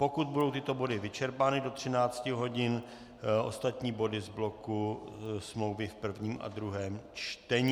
Pokud budou tyto body vyčerpány do 13 hodin, ostatní body z bloku smlouvy v prvním a druhém čtení.